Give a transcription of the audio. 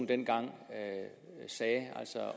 dengang